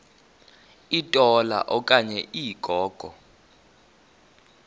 litola okanye ligogo